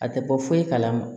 A tɛ bɔ foyi kalama